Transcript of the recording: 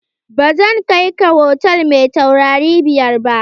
Ba zan kai ka hotal mai taurari biyar ba!